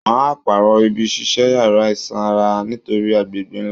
Wọ́n á pàrọ̀ ibi ṣíṣe yàrá ìsanra nítorí agbègbè náà